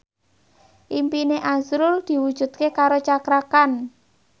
impine azrul diwujudke karo Cakra Khan